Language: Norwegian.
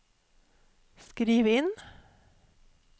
skriv inn